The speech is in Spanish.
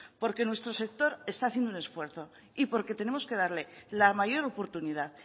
porque nuestro sector está haciendo un esfuerzo y porque tenemos que darle la mayor oportunidad